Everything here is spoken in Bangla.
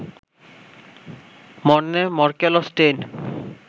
মর্নে মরকেল ও স্টেইন